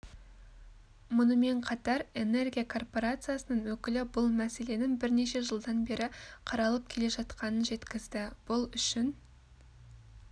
мұнымен қатар энергия корпорациясының өкілі бұл мәселенің бірнеше жылдан бері қаралып келе жатқанын жеткізді бұл үшін